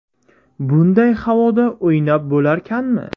Bunday havoda o‘ynab bo‘larkanmi?